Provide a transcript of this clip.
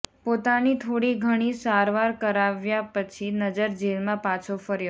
પોતાની થોડીઘણી સારવાર કરાવ્યા પછી નજર જેલમાં પાછો ફર્યો